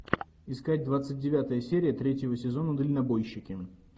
искать двадцать девятая серия третьего сезона дальнобойщики